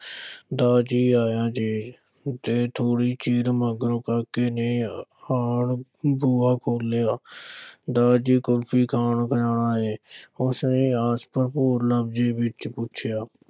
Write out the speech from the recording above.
ਦਾ ਜੀ, ਆਇਆ ਜੇ ਤੇ ਥੋੜ੍ਹੇ ਚਿਰ ਮਗਰੋਂ ਕਾਕੇ ਨੇ ਆਣ ਬੂਹਾ ਖੋਲ੍ਹਿਆ ਦਾ ਜੀ ਕੁਲਫ਼ੀ ਖਾਣ ਜਾਣਾ ਹੈ ਉਸ ਨੇ ਆਸ-ਭਰਪੂਰ ਲਹਿਜੇ ਵਿਚ ਪੁੱਛਿਆ।